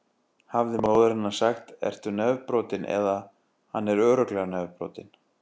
Hefði móðir hennar sagt: Ertu nefbrotinn? eða: Hann er örugglega nefbrotinn.